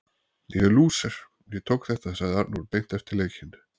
Ég er lúser, hann tók þetta sagði Arnór beint eftir leikinn.